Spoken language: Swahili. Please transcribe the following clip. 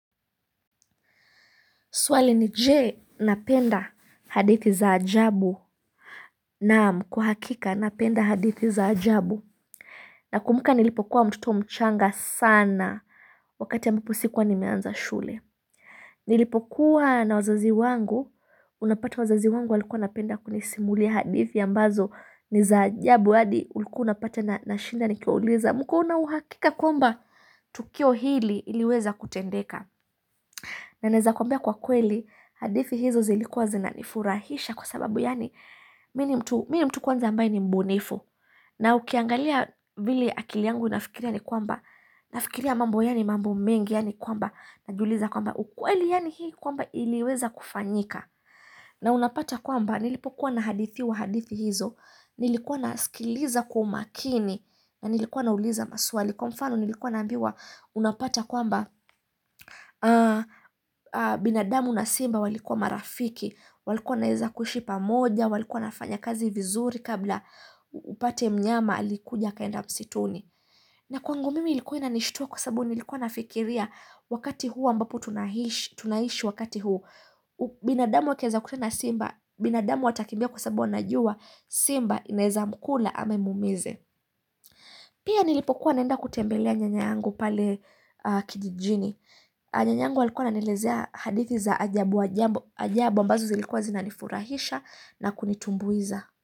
Swali ni je? Napenda hadithi za ajabu naam kwa hakika napenda hadithi za ajabu Nakumbuka nilipokuwa mtoto mchanga sana wakati ambapo sikuwa nimeanza shule Nilipokuwa na wazazi wangu unapata wazazi wangu walikuwa wanapenda kunisimulia hadithi ambazo ni za ajabu hadi ulikua unapata nashinda nikiwauliza mkona uhakika kwamba Tukio hili liliweza kutendeka Naeza kwambia kwa kweli hadithi hizo zilikuwa zinanifurahisha kwa sababu yani mini mtu kwanza ambaye ni mbunifu na ukiangalia vile akili yangu inafikiria ni kwamba nafikiria mambo yani mambo mengi yani kwamba na juliza kwamba ukweli yani hii kwamba iliweza kufanyika na unapata kwamba nilipokuwa na hadithiwa hadithi hizo nilikuwa nasikiliza kwa umakini na nilikuwa nauliza maswali kwa mfano nilikuwa nambiwa unapata kwamba binadamu na simba walikuwa marafiki. Walikuwa naeza kuishi pamoja, walikuwa nafanya kazi vizuri kabla upate mnyama alikuja akaenda msituni. Na kwangu mimi ilikuwa inanishtuwa kwa sababu nilikuwa nafikiria wakati huu ambapo tunaishi wakati huu. Binadamu wakiaza kukutana na simba, binadamu atakimbia kwa sababu anajuwa, simba, inaeza mkula ama imumize. Pia nilipokuwa naenda kutembelea nyanya angu pale kijijini. Nyanyangu alikuwa ananilezea hadithi za ajabu ajabu ambazo zilikuwa zinanifurahisha na kunitumbuiza.